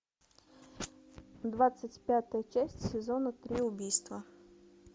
двадцать пятая часть сезона три убийства